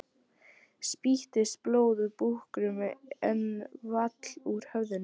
Spýttist blóð úr búknum en vall úr höfðinu.